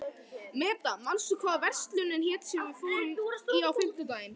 Meda, manstu hvað verslunin hét sem við fórum í á fimmtudaginn?